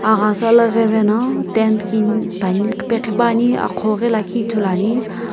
aghasa la veveno tent kini qhipuani aqhou ghi lakhi ithuluani.